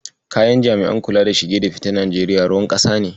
Jami'an kula da shige da ficen Najeriya ruwan ƙasa ne.